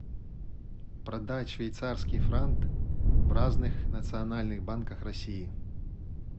продать швейцарский франк в разных национальных банках россии